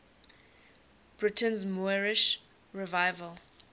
britain's moorish revival